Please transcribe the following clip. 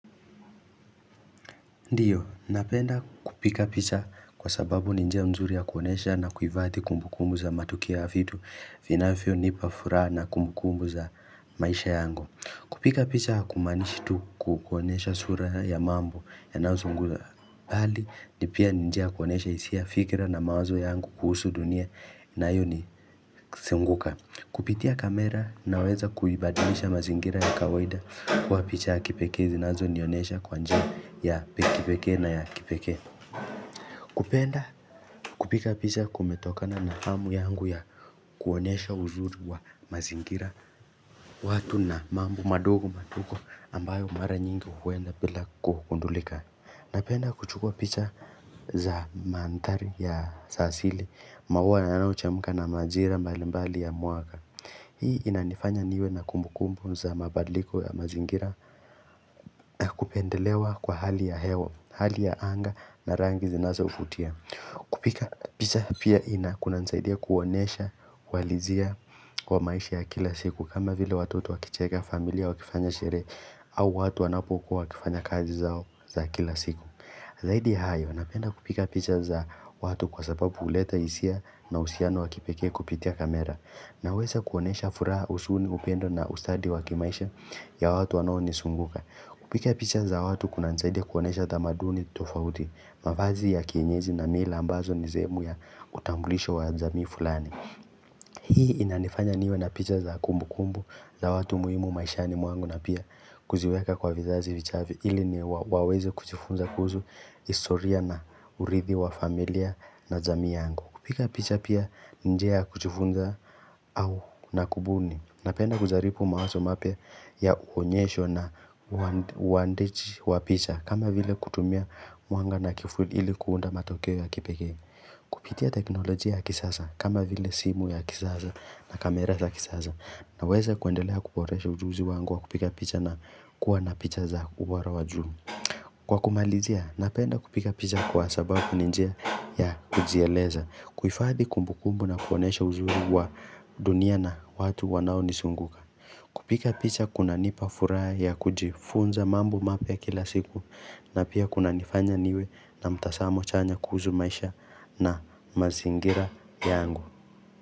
Ndiyo, napenda kupiga picha kwa sababu ni njia mzuri ya kuonesha na kuifadhi kumbukumbu za matukio ya vitu Vinafio nipafuraha na kumbukumbu za maisha yangu Kupiga picha kumanishi tu kukonesha sura ya mambo yanazo zunguza Bali, nipia ni njia ya kuonesha hisia fikira na mawazo yangu kuhusu dunia nayo ni zunguka Kupitia kamera na weza kuibadilisha mazingira ya kawaida Kwa picha ya kipeke, zinazo nionesha kwanja ya kipekee na ya kipekee kupenda kupiga picha kumetokana na hamu yangu ya kuonesha uzuri wa mazingira watu na mambo madogo madogo ambayo mara nyingi huwenda bila kugundulika Napenda kuchukua picha za mantari ya sasili mauana na huchemka na majira mbalimbali ya mwaka Hii inanifanya niwe na kumbukumbu za mabadliko ya mazingira na kupendelewa kwa hali ya hewa, hali ya anga na rangi zinazovutia. Kupiga picha pia ina kuna nsaidia kuonesha malizia kwa maisha ya kila siku kama vile watoto wakicheka familia wakifanya sherehe au watu wanapokuwa wakifanya kazi zao za kila siku. Zaidi ya hayo, napenda kupiga picha za watu kwa sababu huleta hisia na uhusiano wakipekee kupitia kamera. Na weza kuonyesha furaha jusuni upendo na ustadi wakimaisha ya watu wanaonizunguka. Kupiga picha za watu kuna saidia kuonesha damaduni tofauti, mavazi ya kienyezi na mila ambazo ni sehemu ya utambulisho wa jamii fulani. Hii inanifanya niwe na picha za kumbu kumbu za watu muhimu maishani mwangu na pia kuziweka kwa vizazi vijavyo ili ni waweze kuchifunza kuzu historia na urithi wa familia na jamii yangu. Kupiga picha pia ni njia ya kujifunza au na kubuni. Napenda kujaripu mawazo mapya uonyesho na uandichi wa picha. Kama vile kutumia mwanga na kivuli ili kuunda matokeo ya kipekee. Kupitia teknolojia ya kisasa. Kama vile simu ya kisasa na kamera za kisasa. Naweza kuendelea kuboresha ujuzi wangu wa kupiga picha na kuwa na picha za uwaro wa juu. Kwa kumalizia, napenda kupiga picha kwa sababu njia ya kujieleza. Kuhifadi kumbukumbu na kuonesha uzuri wa dunia na watu wanao nizunguka Kupiga picha kunanipa furaha ya kujifunza mambo mapya kila siku na pia kuna nifanya niwe na mtazamo chanya kuhusu maisha na mazingira yangu.